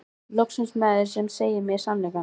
Loksins maður sem segir mér sannleikann, ha?